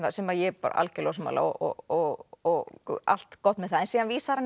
sem ég er algjörlega ósammála og og allt gott með það síðan vísar hann